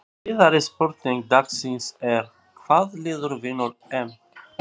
Síðari spurning dagsins er: Hvaða lið vinnur EM?